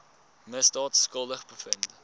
misdaad skuldig bevind